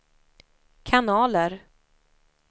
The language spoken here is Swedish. kanaler